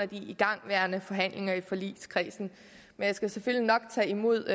de igangværende forhandlinger i forligskredsen men jeg skal selvfølgelig nok tage imod